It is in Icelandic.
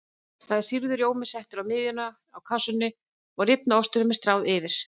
Þá er sýrður rjómi settur í miðjuna á kássunni og rifna ostinum stráð yfir.